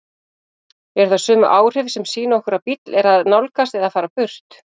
Eru það sömu áhrif sem sýna okkur að bíll er að nálgast eða fara burt?